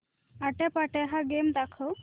आट्यापाट्या हा गेम दाखव